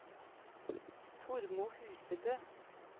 Tormod Husebø